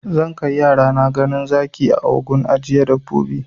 Zan kai yarana ganin zaki a gun ajiye dabbobi